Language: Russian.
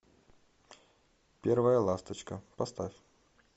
первая ласточка поставь